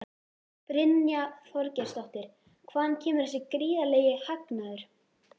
Brynja Þorgeirsdóttir: Hvaðan kemur þessi gríðarlegi hagnaður?